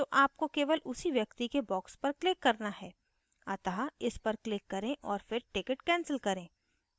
तो आपको केवल उसी व्यक्ति के box पर click करना है अतः इस पर click करें और फिर ticket cancel करें